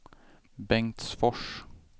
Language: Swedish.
Bengtsfors